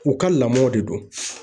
U ka lamɔw de don.